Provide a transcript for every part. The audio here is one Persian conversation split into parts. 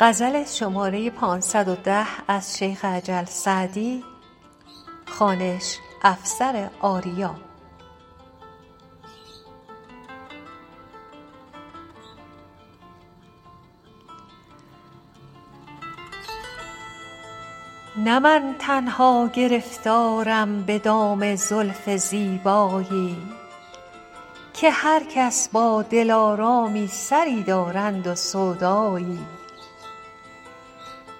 نه من تنها گرفتارم به دام زلف زیبایی که هر کس با دلآرامی سری دارند و سودایی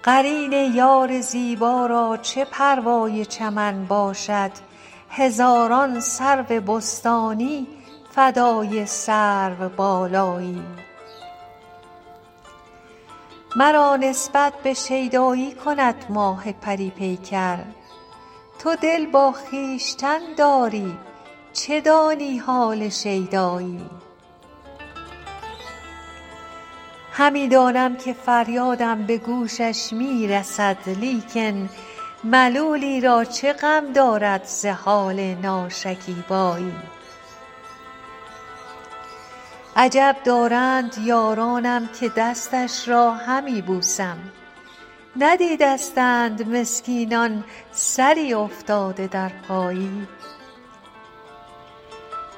قرین یار زیبا را چه پروای چمن باشد هزاران سرو بستانی فدای سروبالایی مرا نسبت به شیدایی کند ماه پری پیکر تو دل با خویشتن داری چه دانی حال شیدایی همی دانم که فریادم به گوشش می رسد لیکن ملولی را چه غم دارد ز حال ناشکیبایی عجب دارند یارانم که دستش را همی بوسم ندیدستند مسکینان سری افتاده در پایی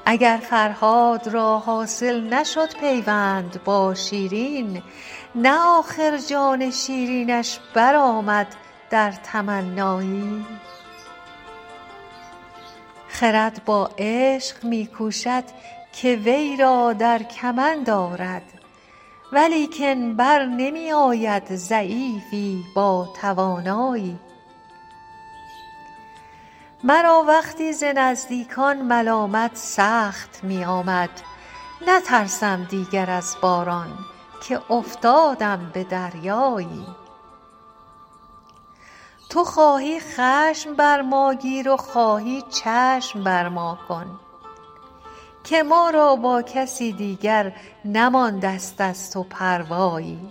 اگر فرهاد را حاصل نشد پیوند با شیرین نه آخر جان شیرینش برآمد در تمنایی خرد با عشق می کوشد که وی را در کمند آرد ولیکن بر نمی آید ضعیفی با توانایی مرا وقتی ز نزدیکان ملامت سخت می آمد نترسم دیگر از باران که افتادم به دریایی تو خواهی خشم بر ما گیر و خواهی چشم بر ما کن که ما را با کسی دیگر نمانده ست از تو پروایی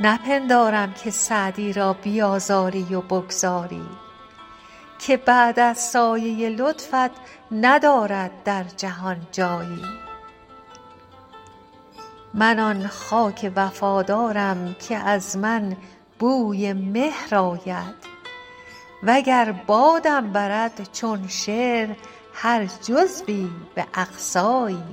نپندارم که سعدی را بیآزاری و بگذاری که بعد از سایه لطفت ندارد در جهان جایی من آن خاک وفادارم که از من بوی مهر آید و گر بادم برد چون شعر هر جزوی به اقصایی